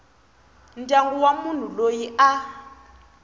ndyangu wa munhu loyi a